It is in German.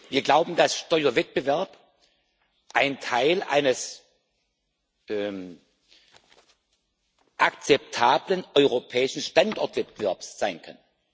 Wir glauben, dass Steuerwettbewerb ein Teil eines akzeptablen europäischen Standortwettbewerbs sein kann.